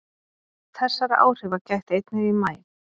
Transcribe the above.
Þessara áhrifa gætti einnig í maí